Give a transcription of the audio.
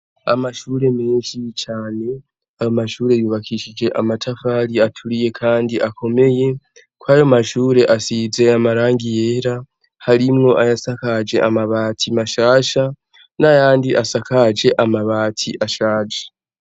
Amashure menshi cane, ayo mashure yubakishije amatafari aturiye kandi akomeye. Kw'ayo mashure asize amarangi yera, harimwo ayasakaje amabati mashasha, n'ayandi asakaje amabati ashaje.